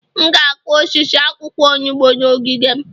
M ga-akụ osisi akwụkwọ onugbu n'ogige m